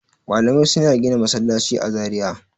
Malamai suna gina masallaci a Zariya.